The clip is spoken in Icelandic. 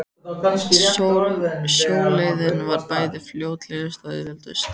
Sjóleiðin var bæði fljótlegust og auðveldust.